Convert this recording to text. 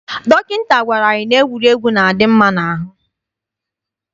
Dọkịta gwara anyị na egwuregwu na-adị mma n'ahụ.